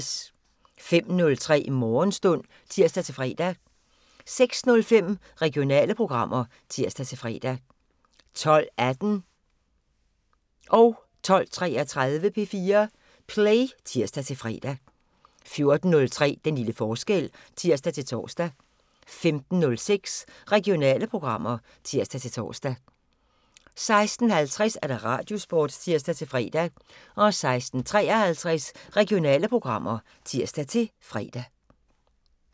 05:03: Morgenstund (tir-fre) 06:05: Regionale programmer (tir-fre) 12:18: P4 Play (tir-fre) 12:33: P4 Play (tir-fre) 14:03: Den lille forskel (tir-tor) 15:06: Regionale programmer (tir-tor) 16:50: Radiosporten (tir-fre) 16:53: Regionale programmer (tir-fre)